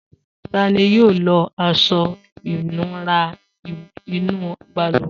Ta ni yóò lo aṣọ-ìnura inú balùwẹ̀?